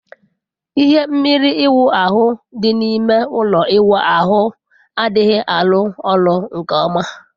Ihe mmiri ịwu ahụ dị n'ime ụlọ ịwụ ahu a adịghị alu olu nke ọma